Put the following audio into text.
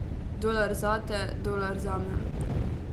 Dolar zate, dolar zame ...